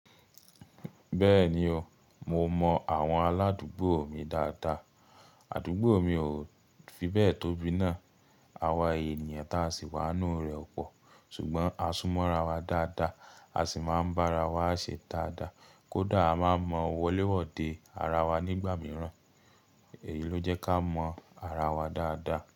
Bẹ́ẹ̀ni o, mo mọ àwọn aládùúgbò mi dáadáa. Àdúgbò mi ò fi bẹ́ẹ̀ tóbi náà. A wa ènìyàn tí a sì wá nínú rẹ̀ pọ̀, ṣùgbọ́n a súnmọ́ ra wa dáadáa, a sì máa ń bá ara wa ṣe dáadáa. Kódà a máa ń mọ wọléwọ́ de ara wa nígbà mìíràn, èyí ló jẹ́ kí a mọ ara wa dáadáa.